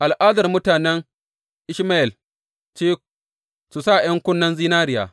Al’adar mutanen Ishmayel ce su sa ’yan kunnen zinariya.